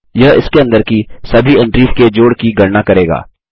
यह इसके अंदर की सभी एंट्रीस के जोड़ की गणना करेगा